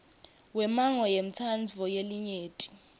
wemmango wentsandvo yelinyenti